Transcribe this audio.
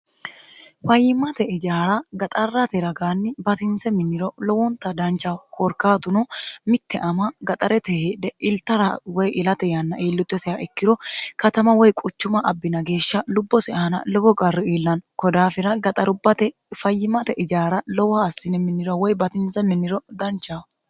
fayyimmate ijaara gaxarrate ragaanni batinse minniro lowonta danchaho koorkaatuno mitte ama gaxarete hedhe iltara woy ilate yanna ielluto sa ikkiro katama woy quchuma abbina geeshsha lubbosi aana lowo garru iillanno kodaafira gaxarubbate fayyimate ijaara lowoha assine minniro woy batinse minniro danchaho